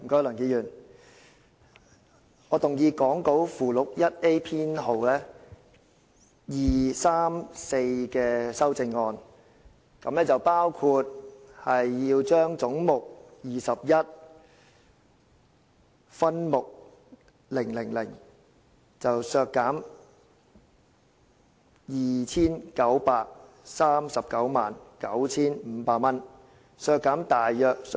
梁議員，我動議講稿附錄 1A 編號2、3及4的修正案，包括：第一，議決為削減分目000而將總目21削減 29,399,500 元。